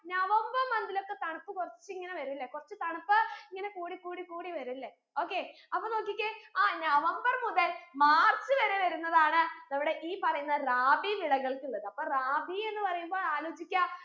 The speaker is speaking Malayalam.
നവംബർ month ലോക്കെ തണുപ്പ് കുറച്ച് ഇങ്ങനെ വരുവല്ലേ കുറച്ച് തണുപ്പ് ഇങ്ങനെ കൂടി കൂടി കൂടി വരു ല്ലേ okay അപ്പൊ നോക്കിക്കേ ആ നവംബർ മുതൽ മാർച്ച് വരെ വരുന്നതാണ് നമ്മുടെ ഈ പറയുന്ന റാബി വിളകൾക്കുള്ളത് അപ്പൊ റാബി എന്ന് പറയുമ്പോ ആലോചിക്ക